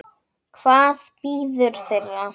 Hvað bíður þeirra?